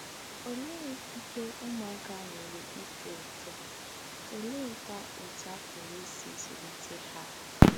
Olee ikike ụmụaka nwere ito eto, oleekwa otú a pụrụ isi zụlite ya?